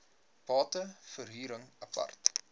bate verhuring apart